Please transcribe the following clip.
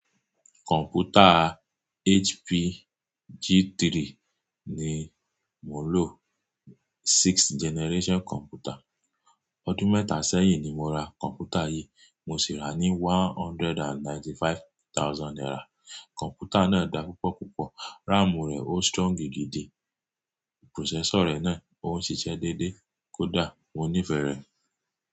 Kọ̀m̀pútà HP G3 ni mò ń lò, sixth generation computer. Ọdún mẹ́tà ṣẹ́yìn ni mo ra kọ̀m̀pútà yìí, mo sì rà á ní one hundred and ninety-five thousand naira. Kọ̀m̀pútà náà dáa púpọ̀ púpọ̀, ráàmù rẹ̀ ó strong gidi gìdí, processor rẹ̀ náà ó ń ṣiṣẹ́ déédéé, kò dà, mo nífẹ̀ẹ́ rẹ̀.